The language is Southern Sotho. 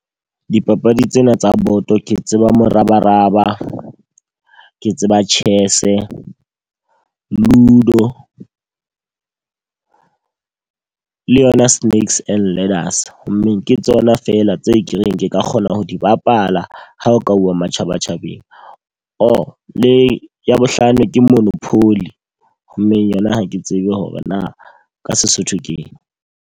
Dipapadi tsena tsa boto ke tseba morabaraba, ke tseba chess, ludo le yona sneaks and ladders. Ho mmeng ke tsona fela tse ka reng ke ka kgona ho di bapala ha o ka uwa matjhaba tjhabeng. Or le ya bohlano ke monopoly mme yona ha ke tsebe hore na ka Sesotho ke eng.